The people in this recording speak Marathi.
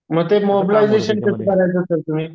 मग ते मॉबलायजेशन करायचे सर तुम्ही